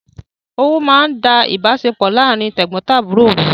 Owú máa ń da ìbáṣepọ̀ láàrín tẹ̀gbọntàbúrò rú